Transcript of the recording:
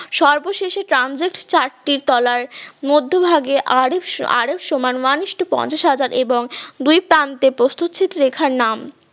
সর্বশেষে ট্রানজেট চার্ট টি তলার মধ্যভাগে আরব আরব সমান one isto পঞ্চাশ হাজার এবং দুই প্রান্তে প্রস্তু ছেদ রেখার নাম